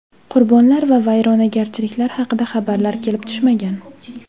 Qurbonlar va vayronagarchiliklar haqida xabarlar kelib tushmagan.